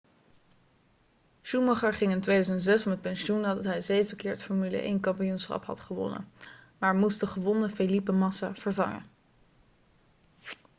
schumacher ging in 2006 met pensioen nadat hij zeven keer het formule 1-kampioenschap had gewonnen maar moest de gewonde felipe massa vervangen